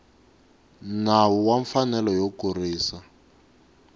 nawu wa mfanelo yo kurisa